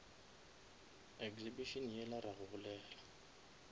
exhibition yela ra go bolela